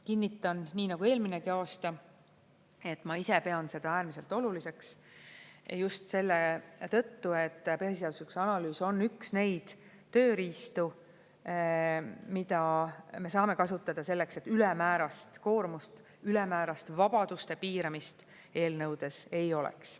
Kinnitan, nii nagu eelminegi aasta, et ma ise pean seda äärmiselt oluliseks just selle tõttu, et põhiseaduslikkuse analüüs on üks neid tööriistu, mida me saame kasutada selleks, et ülemäärast koormust, ülemäärast vabaduste piiramist eelnõudes ei oleks.